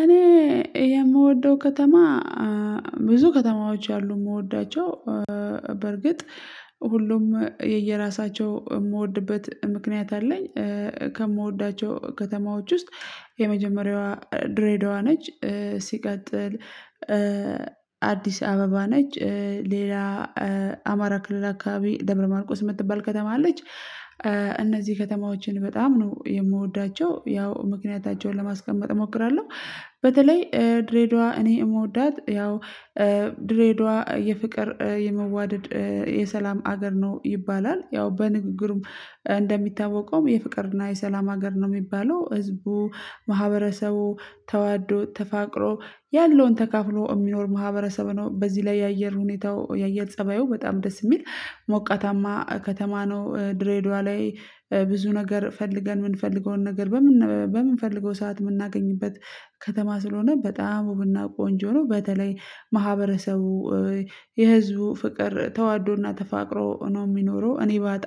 እኔ የምወደው ከተማ ብዙ ከተማዎች አሉ የምወዳቸው በርግጥ ሁሉም የየራሳቸው የምወድበት ምክንያት አለኝ። ከምወዳቸው ከተማዎች ውስጥ የመጀመሪያዋ ድሬዳዋ ነች። ሲቀጥል አዲስ አበባ ነች። ሌላ አማራ ክልል አካባቢ ደብረ ማርቆስ የምትባል ከተማ አለች። እነዚህ ከተማዎችን በጣም ነው የምወዳቸው ያው ምክንያታቸውን ለማስቀመጥ እሞክራለሁ። በተለይ ድሬዳዋ እኔ የምወዳት ያው ድሬዳዋ የፍቅር የመዋደድ የሰላም ሀገር ነው ይባላል። ያው በንግግሩም እንደሚታወቀውም የፍቅርና የሰላም ሀገር ነው የሚባለው። ህዝቡ ማህበረሰቡ ተዋዶ ተፋቅሮ ያለውን ተካፍሎ የሚኖር ማህበረሰቡ ነው። በዚህ ላይ የአየር ሁኔታው የአየር ፀባዩ በጣም ደስ የሚል ሞቃታማ ከተማ ነው። ድሬዳዋ ላይ ብዙ ነገር ፈልገን የምንፈልገውን ነገር በምንፈልገው ሰዓት የምናገኝበት ከተማ ስለሆነ በጣም ውብና ቆንጆ ነው። በተለይ ማህበረሰቡ የህዝቡ ፍቅር ተዋዶና ተፋቅሮ ነው የሚኖረው። እኔ ባጣ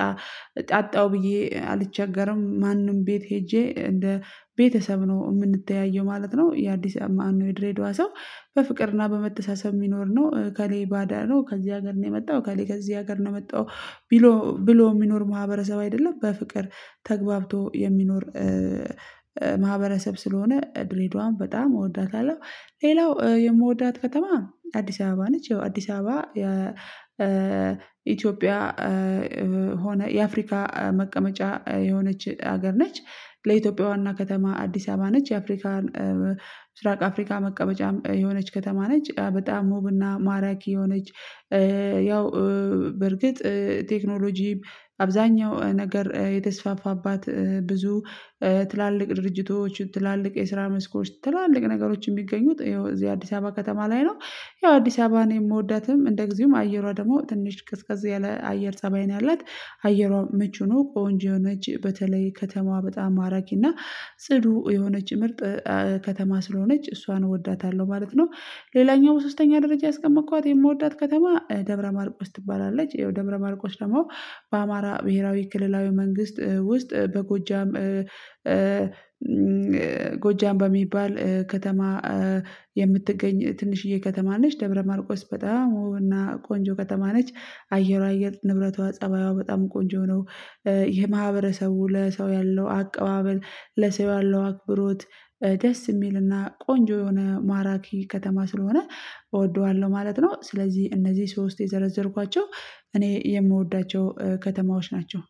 አጣው ብዬ አልቸገርም ማንም ቤት ሄጄ እንደ ቤተሰብ ነው የምንተያየው ማለት ነው። የአዲስ አማኑይ ድሬዳዋ ሰው በፍቅርና በመተሳሰብ የሚኖር ነው። ከእኔ ባዳ ነው ከዚህ ሀገር ነው የመጣው ከእኔ ከዚህ ሀገር ነው የመጣው ብሎ ብሎ የሚኖር ማህበረሰብ አይደለም። በፍቅር ተግባብቶ የሚኖር ማህበረሰብ ስለሆነ ድሬዳዋን በጣም እወዳታለሁ። ሌላው የምወዳት ከተማ አዲስ አበባ ነች። አዲስ አበባ ኢትዮጵያ ሆነ የአፍሪካ መቀመጫ የሆነች ሀገር ነች። ለኢትዮጵያ ዋና ከተማ አዲስ አበባ ነች። የአፍሪካን ምስራቅ አፍሪካ መቀመጫ የሆነች ከተማ ነች። በጣም ሙብና ማራኪ የሆነች ያው በርግጥ ቴክኖሎጂም አብዛኛው ነገር የተስፋፋባት ብዙ ትላልቅ ድርጅቶች ትላልቅ የስራ መስኮች ትላልቅ ነገሮችን የሚገኙት ይኸው እዚህ አዲስ አበባ ከተማ ላይ ነው። ያው አዲስ አበባ ነው የምወዳትም እንደ ጊዜውም አየሯ ደግሞ ትንሽ ቅስቀሳ ያለ አየር ፀባይ ነው ያላት። አየሯን ምቹ ነው ቆንጆ የሆነች በተለይ ከተማዋ በጣም ማራጊና ጽዱ የሆነች ምርጥ ከተማ ስለሆነች እሷን እወዳታለሁ ማለት ነው። ሌላኛው በሶስተኛ ደረጃ ያስቀመጥኳት የምወዳት ከተማ ደምረ ማርቆች ትባላለች። ይኸው ደብረ ማርቆች ደግሞ በአማራ ብሄራዊ ክልላዊ መንግስት ውስጥ በጎጃም ጎጃም በሚባል ከተማ የምትገኝ ትንሽዬ ከተማ ነች። ደብረማርቆስ በጣም ውብ እና ቆንጆ ከተማ ነች። አየር አየር ንብረቷ ፀባይዋ በጣም ቆንጆ ነው። ይሄ ማህበረሰቡ ለሰው ያለው አቀባበል ለሰው ያለው አክብሮት ደስ የሚልና ቆንጆ የሆነ ማራኪ ከተማ ስለሆነ እወደዋለሁ ማለት ነው። ስለዚህ እነዚህ ሶስት የዘረዘርኳቸው እኔ የምወዳቸው ከተማዎች ናቸው